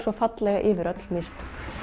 yfir öll mistök